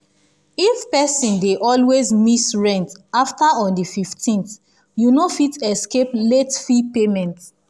if person dey always miss rent after on the 15th you no fit escape late fee payment.